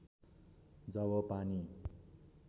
जब पानी